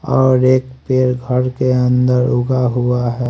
और एक पेड़ घर के अंदर उगा हुआ है।